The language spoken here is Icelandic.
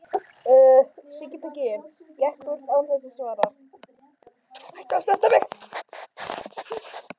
Sigurður gekk burt án þess að svara.